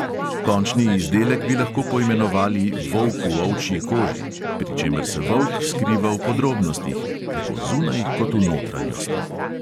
Končni izdelek bi lahko poimenovali volk v ovčji koži, pri čemer se volk skriva v podrobnostih – tako zunaj kot v notranjosti.